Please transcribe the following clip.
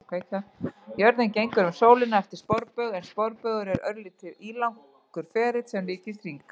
Jörðin gengur um sólina eftir sporbaug en sporbaugur er örlítið ílangur ferill sem líkist hring.